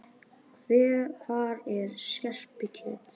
Hvar er skerpikjötið?